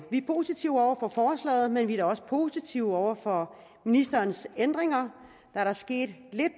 vi er positive over for forslaget men vi er da også positive over for ministerens ændringer der er da sket lidt